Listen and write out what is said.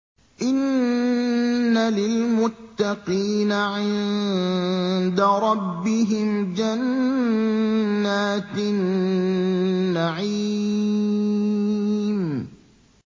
إِنَّ لِلْمُتَّقِينَ عِندَ رَبِّهِمْ جَنَّاتِ النَّعِيمِ